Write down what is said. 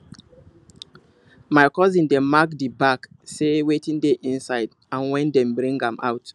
my cousin dey mark the bag say wetin dey inside and when dem bring am out